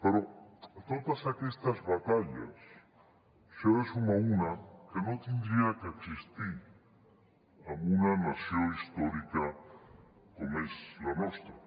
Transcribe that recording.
però a totes aquestes batalles se n’hi ha de sumar una que no hauria d’existir en una nació històrica com és la nostra